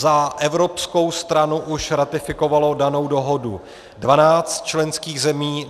Za evropskou stranu už ratifikovalo danou dohodu 12 členských zemí.